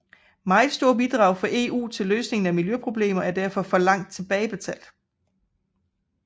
Meget store bidrag fra EU til løsning af miljøproblemer er derfor forlangt tilbagebetalt